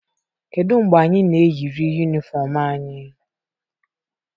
kedu mgbe anyị na-eyiri Uniform anyị?